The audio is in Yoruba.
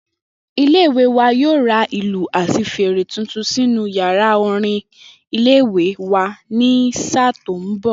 Ilé-ìwé wa yóò ra ìlù àti fèrè tuntun sínú yàrá orin ilé-ìwé wa ní sáà tó ń bò̩.